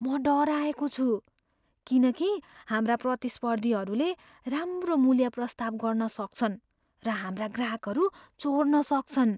म डराएको छु किन कि हाम्रा प्रतिस्पर्धीहरूले राम्रो मूल्य प्रस्ताव गर्न सक्छन् र हाम्रा ग्राहकहरू चोर्न सक्छन्।